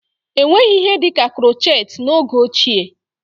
Enweghị ihe dịka krochet n'oge ochie